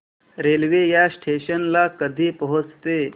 railway या station ला कधी पोहचते